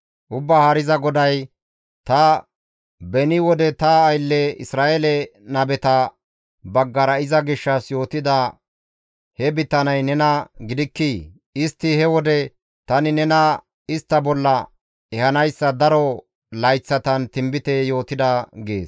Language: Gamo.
«Ubbaa Haariza GODAY, ‹Ta beni wode ta aylle Isra7eele nabeta baggara iza gishshas yootida he bitaney nena gidikkii? Istti he wode tani nena istta bolla ehanayssa daro layththatan tinbite yootida› gees.